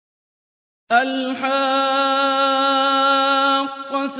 الْحَاقَّةُ